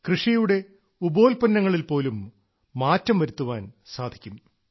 കൃഷിയുടെ ഉപോല്പന്നങ്ങളിൽ നിന്നും പോലും മാറ്റം വരുത്തുവാൻ സാധിക്കും